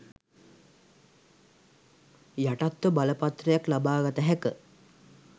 යටත්ව බලපත්‍රයක් ලබා ගත හැක.